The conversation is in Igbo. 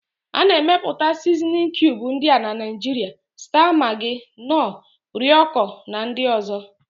A na-emepụta Sizinin kiubu ndị a na Naịjiria: staa magị, nọọ, rọiko na ndị ọ̀zọ́.